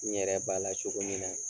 N yɛrɛ b'a la cogo min na